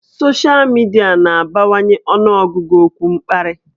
Soshal midia na-abawanye ọnụọgụgụ okwu mkparị